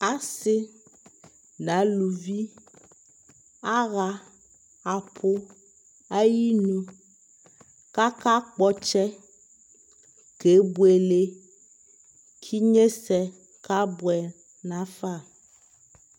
Asɩ n'aluvi aɣa apʋ ayinu K'aka kpɔtsɛ kebuele , k'inyesɛ kabʋɛ nafa